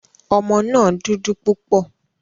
Ọmọ náà dúdú púpọ̀.